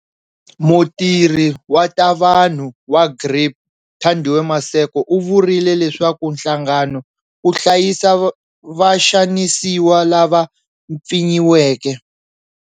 Mutirhi wa ta vanhu wa GRIP Thandiwe Maseko u vurile leswaku nhlangano wu hlayisa vaxanisiwa lava mpfinyiweke.